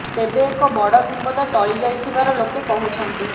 ତେବେ ଏକ ବଡ ବିପଦ ଟଳି ଯାଇ ଥିବାର ଲୋକେ କହୁଛନ୍ତି